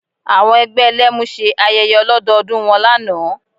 Àwọn ẹgbẹ́ Ẹlẹ́mu ṣe ayẹyẹ ọlọ́dọọdún wọn lánàá